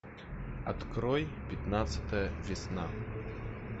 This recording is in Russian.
открой пятнадцатая весна